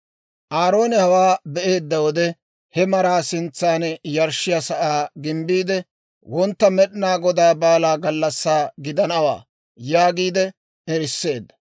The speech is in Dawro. Aaroone hawaa be'eedda wode, he maraa sintsan yarshshiyaa sa'aa gimbbiide, «Wontta Med'inaa Godaa baalaa gallassaa gidanawaa» yaagiide eriseedda.